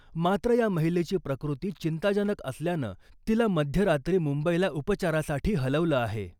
मात्र , या महिलेची प्रकृती चिंताजनक असल्यानं तिला मध्यरात्री मुंबईला उपचारासाठी हलवलं आहे .